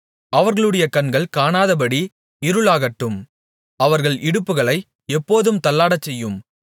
அவர்களுடைய கண்கள் காணாதபடி இருளாகட்டும் அவர்கள் இடுப்புகளை எப்போதும் தள்ளாடச்செய்யும்